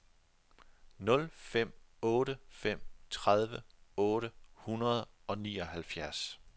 nul fem otte fem tredive otte hundrede og nioghalvfjerds